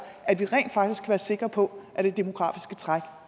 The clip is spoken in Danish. at vi rent faktisk kan være sikre på at det demografiske træk